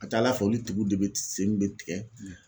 A ka ca ala fɛ olu tigow de bɛ sen de bɛ tigɛ.